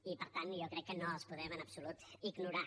i per tant jo crec que no els podem en absolut ignorar